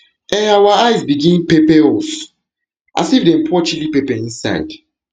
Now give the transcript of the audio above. um our eyes begin pepper begin pepper um us as if dem pour chilli pepper inside